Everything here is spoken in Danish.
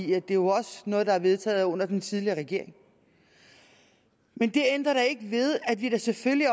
det er jo også noget der er vedtaget under den tidligere regering men det ændrer da ikke ved at vi selvfølgelig